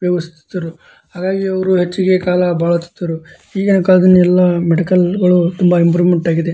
ಉಪಯೋಗಿಸುತ್ತಿದ್ದರು ಹಾಗಾಗಿ ಅವರು ಹೆಚ್ಚಿಗೆ ಕಾಲ ಬಾಳುತ್ತಿದ್ದರು ಈಗಿನ ಕಾಲದಲ್ಲಿ ಎಲ್ಲ ಮೆಡಿಕಲ್ ತುಂಬಾ ಇಂಪ್ರೂವ್ಮೆಂಟ್ ಆಗಿದೆ.